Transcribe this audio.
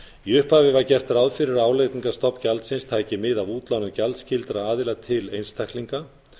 í upphafi var gert ráð fyrir að álagningarstofn gjaldsins tæki mið af útlánum gjaldskyldra aðila til einstaklinga